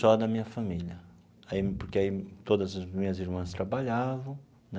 Só da minha família aí porque aí, todas as minhas irmãs trabalhavam.